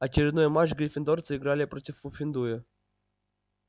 очередной матч гриффиндорцы играли против пуффендуя